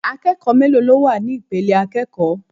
Akẹ́kọ̀ọ́ mélòó ló wà ní ipele àkọ́kọ́?